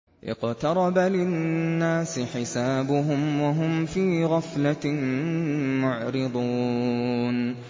اقْتَرَبَ لِلنَّاسِ حِسَابُهُمْ وَهُمْ فِي غَفْلَةٍ مُّعْرِضُونَ